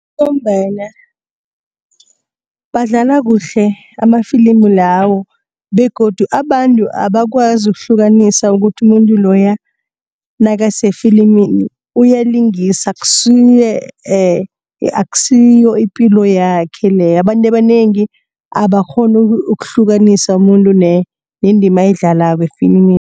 Ngombana badlala kuhle amafilimu lawo begodu abantu abakwazi ukuhlukanisa ukuthi umuntu loya nakasefilimini uyalingisa akusiyo ipilo yakhe leya abantu abanengi abakghoni ukuhlukanisa umuntu nendima ayidlalako efilimini